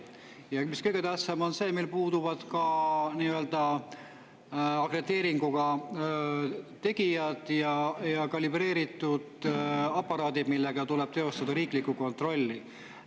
Ja mis kõige tähtsam, on see, meil puuduvad ka akrediteeringuga tegijad ja kalibreeritud aparaadid, millega tuleb teostada riiklikku kontrolli.